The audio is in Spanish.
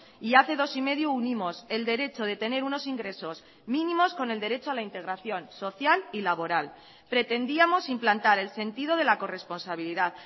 y hace dos y medio unimos el derecho de tener unos ingresos mínimos con el derecho a la integración social y laboral pretendíamos implantar el sentido de la corresponsabilidad